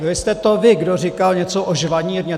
Byl jste to vy, kdo říkal něco o žvanírně.